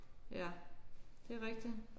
Ja det er rigtigt